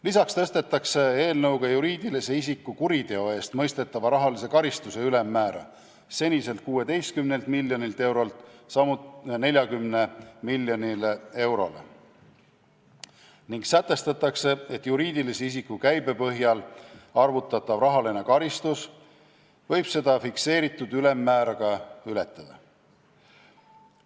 Lisaks tõstetakse eelnõuga juriidilisele isikule kuriteo eest mõistetava rahalise karistuse ülemmäära seniselt 16 miljonilt eurolt 40 miljonile eurole ning sätestatakse, et juriidilise isiku käibe põhjal arvutatav rahaline karistus võib seda fikseeritud ülemmäära ka ületada.